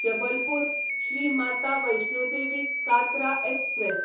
Jabalpur Shri Mata Vaishno Devi Katra express